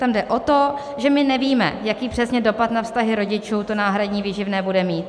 Tam jde o to, že my nevíme, jaký přesný dopad na vztahy rodičů to náhradní výživné bude mít.